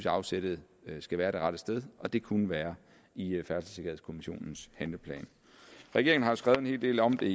at afsættet skal være det rette sted og det kunne være i færdselssikkerhedskommissionens handleplan regeringen har skrevet en hel del om det